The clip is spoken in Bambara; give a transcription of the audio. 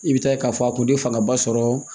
I bɛ taa k'a fɔ a tun tɛ fangaba sɔrɔ